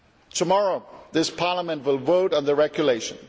Tomorrow this Parliament will vote on the regulation.